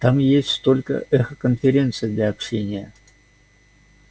там есть только эхоконференции для общения